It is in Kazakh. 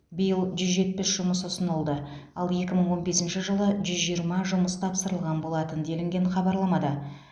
биыл жүз жетпіс жұмыс ұсынылды ал екі мың он бесінші жылы жүз жиырма жұмыс тапсырылған болатын делінген хабарламада